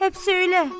həp söylə!